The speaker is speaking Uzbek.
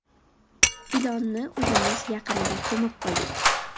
Ilonni uyimiz yaqinida ko‘mib qo‘ydik”.